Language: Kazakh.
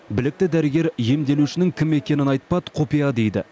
білікті дәрігер емделушінің кім екенін айтпады құпия дейді